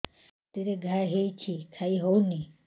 ପାଟିରେ ଘା ହେଇଛି ଖାଇ ହଉନି